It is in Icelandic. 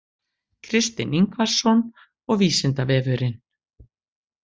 Kristinn Ingvarsson og Vísindavefurinn.